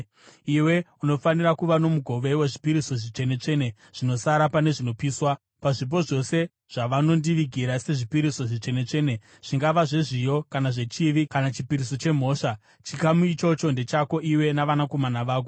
Iwe unofanira kuva nomugove wezvipiriso zvitsvene-tsvene zvinosara pane zvinopiswa. Pazvipo zvose zvavanondivigira sezvipiriso zvitsvene-tsvene, zvingava zvezviyo kana zvechivi kana chipiriso chemhosva, chikamu ichocho ndechako iwe navanakomana vako.